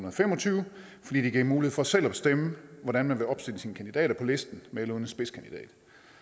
og fem og tyve fordi det giver mulighed for selv at bestemme hvordan man vil opstille sine kandidater på listen med eller uden en spidskandidat